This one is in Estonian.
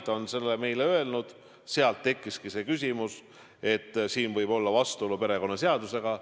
Ta on seda meile öelnud ja sealt tekkiski see küsimus, et siin võib olla vastuolu perekonnaseadusega.